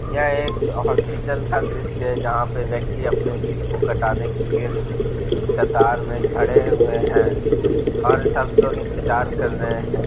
यह एक हॉस्पिटल का दृश्य है जहां पर व्यक्ति अपने बिल को कटाने के लिए कतार में खड़े हुए हैं और सब लोग इंतजार कर रहे हैं।